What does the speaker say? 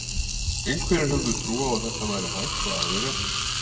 Einhverjir höfðu trú á að þetta væri hægt og aðrir ekki.